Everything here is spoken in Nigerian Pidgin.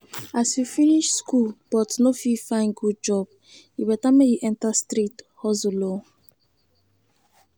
as you finish school but no fit find good job e better make you enter street hustle oo